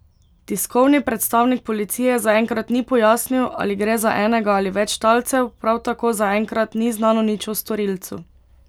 Tiskovni predstavnik policije zaenkrat ni pojasnil, ali gre za enega ali več talcev, prav tako zaenkrat ni znano nič o storilcu.